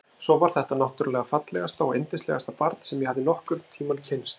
Svo var þetta náttúrlega fallegasta og yndislegasta barn sem ég hafði nokkurn tímann kynnst.